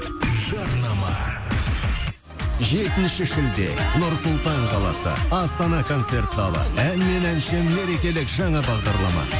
жарнама жетінші шілде нұр сұлтан қаласы астана концерт залы ән мен әнші мерекелік жаңа бағдарлама